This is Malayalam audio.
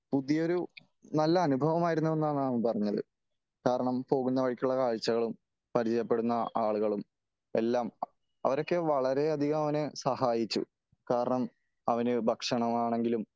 പുതിയ ഒരു നല്ല അനുഭവമായിരുന്നു എന്നാണ് അവൻ പറഞ്ഞത് . കാരണം പോകുന്ന വഴിക്കുള്ള കാഴ്ചകളും , പരിചയപ്പെടുന്ന ആളുകളും എല്ലാം അവരൊക്കെ വളരെ അധികം അവനെ സഹായിച്ചു . കാരണം അവന് ഭക്ഷണമാണെങ്കിലും